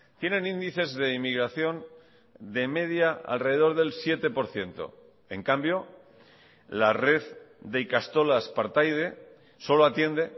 tienen índices de inmigración de media alrededor del siete por ciento en cambio la red de ikastolas partaide solo atiende